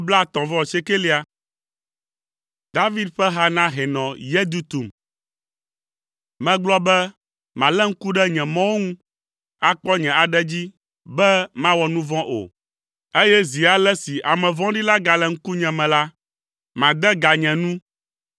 David ƒe ha na hɛnɔ Yedutun. Megblɔ be, “Malé ŋku ɖe nye mɔwo ŋu, akpɔ nye aɖe dzi be mawɔ nu vɔ̃ o, eye zi ale si ame vɔ̃ɖi la gale ŋkunye me la, made ga nye nu.”